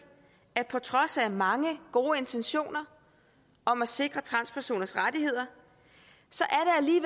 at på trods af mange gode intentioner om at sikre transpersoners rettigheder